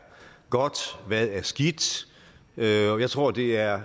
godt hvad der er skidt jeg tror det er